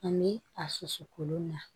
Ani a susu kolon na